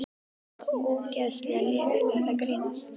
Bara ógeðslega lélegt, ertu að grínast?